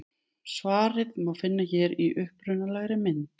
Svarið má finna hér í upprunalegri mynd.